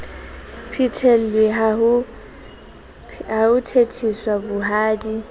phethelwe ha ho thetheswa bohadi